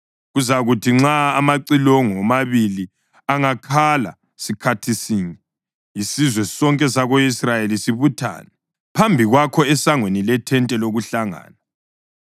Kuzakuthi nxa amacilongo womabili angakhala sikhathi sinye, isizwe sonke sako-Israyeli sibuthane phambi kwakho esangweni lethente lokuHlangana.